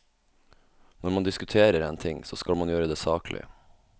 Når man diskuterer en ting, så skal man gjøre det saklig.